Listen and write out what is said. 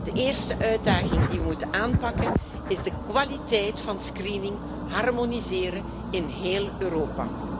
De eerste uitdaging die we moeten aanpakken, is de kwaliteit van screening harmoniseren in heel Europa.